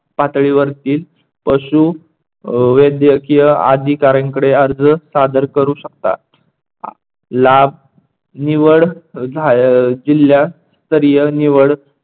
पातळीवरतील पशू वैदकीय अधिकाऱ्यांकडे अर्ज सादर करू शकता. हा लाभ निवड आह जिल्हयास्तरीय निवड